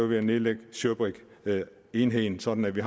ved at nedlægge shirbrig enheden sådan at vi